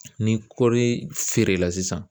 Ni kɔɔri feere la sisan